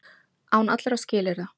Án allra skilyrða.